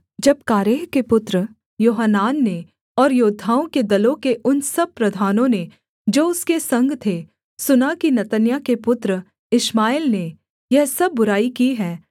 जब कारेह के पुत्र योहानान ने और योद्धाओं के दलों के उन सब प्रधानों ने जो उसके संग थे सुना कि नतन्याह के पुत्र इश्माएल ने यह सब बुराई की है